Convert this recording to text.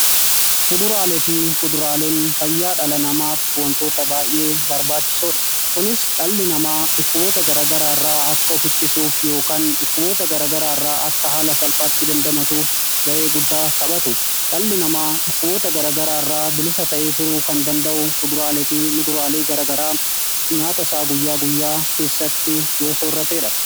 Fuduraale fi kuduraaleen fayyaa dhala namaa wantoota baay'ee barbaachisoodha kunis dhalli namaa dhukkuboota garagaraa irraa akka ofittisuuf yookaan dhukkuboota garagaraa irraa akka haala salphaatti dandamatuuf ga'ee guddaa taphatu dhalli namaa dhukkuboota garagaraa irraa bilisa ta'ee turuu kan danda'u kuduraale fi muduraalee garagaraa nyaata isaa guyyaa guyyaa keessatti yoo soorrateedha.